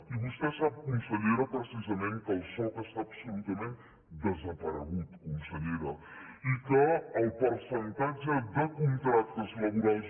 i vostè sap consellera precisament que el soc està absolutament desaparegut consellera i que el percentatge de contractes laborals